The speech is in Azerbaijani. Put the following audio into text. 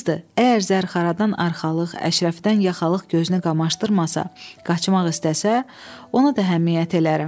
Qızdır, əgər zərxaradan arxalıq, əşrəfdən yaxalıq gözünü qamaşdırmasa, qaçmaq istəsə, ona da həmiyyət elərəm.